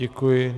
Děkuji.